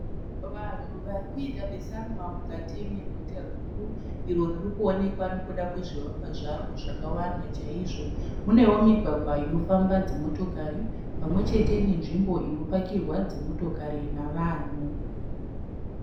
Vanhu varikuita besanwa mukati meguta guru iro riri kuwonekwa nekuda kwezvivakwa zvaro zvakawanda chaizvo. Munewo migwagwa inofamba dzimotokari pamwechete nenzvimbo inopakirwa dzimotokari navanhu.